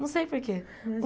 Não sei por quê.